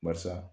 Barisa